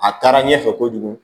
A taara ɲɛfɛ kojugu